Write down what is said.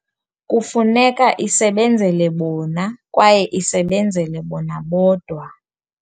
Kufuneka isebenzele bona kwaye isebenzele bona bodwa.